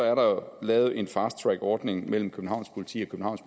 er der lavet en fast track ordning mellem københavns politi og